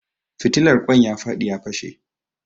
Fitilar ƙoin ya faɗi ya fashe